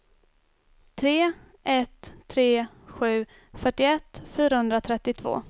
tre ett tre sju fyrtioett fyrahundratrettiotvå